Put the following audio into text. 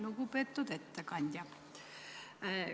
Lugupeetud ettekandja!